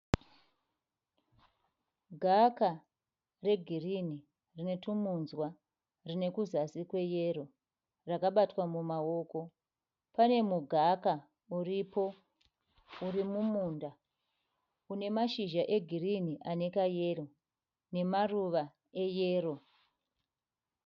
Gaka regirini rine tumunzwa rine kuzasi kweyero rakabatwa mumaoko pane mugaka uripo uri mumunda une mashizha egirini ane kayero nemaruva eyero.